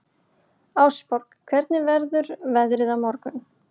Ásborg, hvernig verður veðrið á morgun?